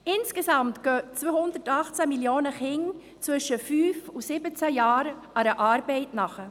Insgesamt gehen 218 Millionen Kinder im Alter von 5–17 Jahren einer Arbeit nach.